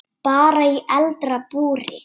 Bara í eldra búri.